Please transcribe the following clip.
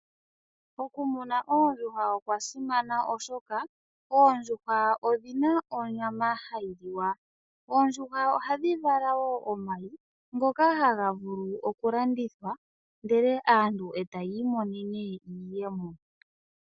Okumuna oondjuhwa okwa simana oshoka, oondjuhwa odhina onyama hayi liwa. Oondjuhwa oha dhi vala wo omayi, ngoka ha ga vulu okulandithwa, ndele aantu eta ya imonene iiyemo.